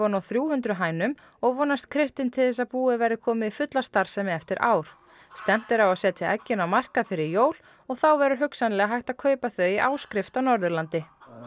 á þrjú hundruð hænum og vonast Kristinn til þess að búið verði komið í fulla starfsemi eftir ár stefnt er á að setja eggin á markað fyrir jól og þá verður hugsanlega hægt að kaupa þau í áskrift á Norðurlandi